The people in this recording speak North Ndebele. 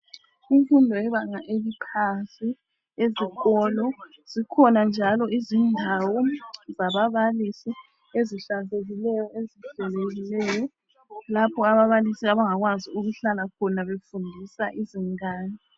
Imfundo yebanga eliphansi ezikolo zikhona njalo izindawo zaba balisi ezihlanzekile ezihlelekileyo lapho ababalisi abangakwazi ukuhlala khona befundisa izingane.